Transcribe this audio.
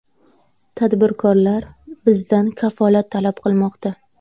Tadbirkorlar bizdan kafolat talab qilmoqda.